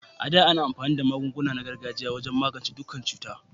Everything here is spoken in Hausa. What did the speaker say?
A da, ana amfani da magunguna na gargajiya wajen magance dukkan cutar.